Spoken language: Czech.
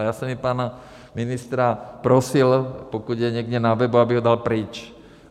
A já jsem i pana ministra prosil, pokud je někde na webu, aby ho dal pryč.